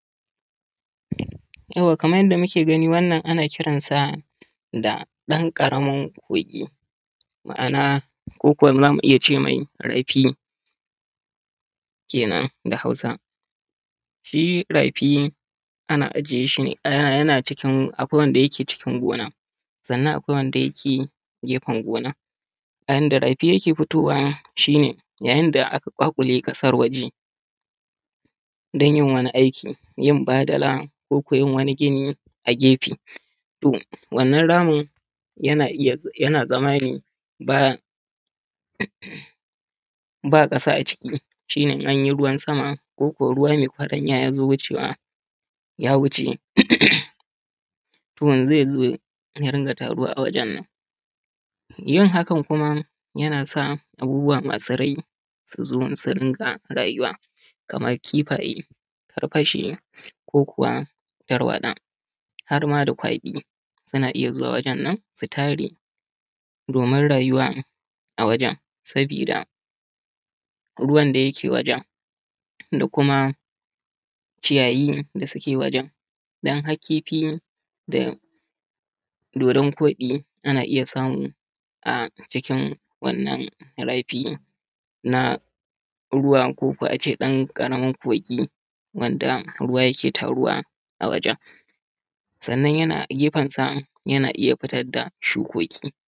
Yauwa kaman yadda muke gani wannan ana kiransa da ɗan ƙarami kurƙi ma’ana ko ko za mu iya ce me rafi kenan da Hausa shi rafi ana ajiye shi ne a cikin yana cikin akwai wanda yake cikin gona sanna akwai wanda yake geben gona. Bayan da rafi yake fitowa shi ne yayin da ake ƙwaƙwule ƙasar waje dan yin wani aiki fadala ko yin wani gini a gefe to wannan ramin yana iya yana zamane b aba ƙasa a ciki shine in anyi ruwan sama ko ruwa me yabanya yazo mucewa ya wuce to zezo ya din taruwa wa jen nan yin hakan kuma yanasa abubbuwan masu raini suzo dinga raywau kamar kifaye karwashi ko kuwa tarwatsa harma da kwaɗi suna iya zuwa wajen nan su tare domin rayuwa a wajen sabida ruwan da yake wajen da kuma ciyayi da suke wajen dun har kifi da dodon kwaɗi ana iya samu a jikin wannna rafi na ruwa koko a ce ɗan ƙaramin kogi wanda ruwa yake taruwa a wajen sannan yana gefensa yana iya fitar da shukoki.